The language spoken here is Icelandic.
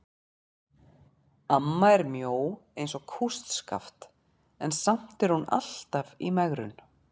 Amma er mjó eins og kústskaft en samt er hún alltaf í megrun.